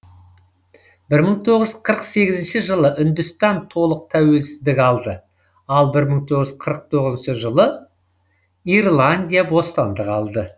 бір мың тоғыз жүз қырық сегізінші жылы үндістан толық тәуелсіздік алды ал бір мың тоғыз жүз қырық тоғызыншы жылы ирландия бостандық алды